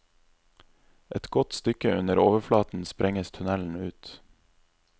Et godt stykke under overflaten sprenges tunnelen ut.